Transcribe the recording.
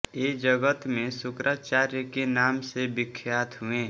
ये जगत में शुक्राचार्य के नाम से विख्यात हुए